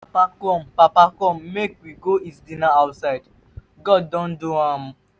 papa come papa come make we go eat dinner outside. god don do am.